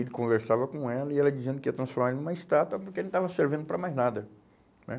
Ele conversava com ela e ela dizendo que ia transformar ele em uma estátua porque ele não estava servindo para mais nada, né?